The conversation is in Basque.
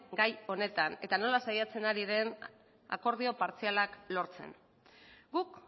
gai honetan eta nola saiatzen ari den akordio partzialak lortzen guk